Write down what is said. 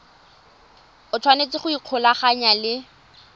o tshwanetse go ikgolaganya le